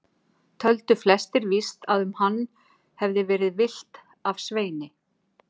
Töldu flestir víst að um hann hefði verið villt af Sveini.